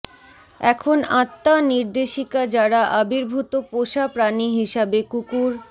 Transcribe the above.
এখন আত্মা নির্দেশিকা যারা আবির্ভূত পোষা প্রাণী হিসাবে কুকুর